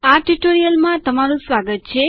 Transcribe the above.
આ ટ્યુટોરીયલમાં તમારું સ્વાગત છે